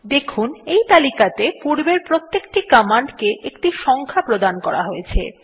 দেখুন এই তালিকাতে পূর্বের প্রতেকটি কমান্ডকে একটি সংখ্যা প্রদান করা হয়ছে